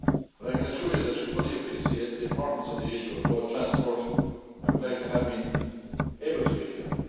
I can assure you that she fully appreciates the importance of the issue of road transport and would like to have been able to be here.